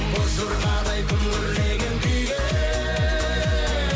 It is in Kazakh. боз жорғадай күмбірлеген күйге